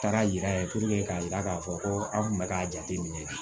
Taara yira k'a yira k'a fɔ ko an tun bɛ k'a jate minɛ